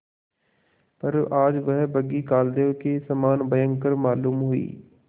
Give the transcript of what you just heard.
पर आज वह बग्घी कालदेव के समान भयंकर मालूम हुई